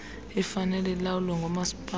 ifanele ilawulwe ngoomasipala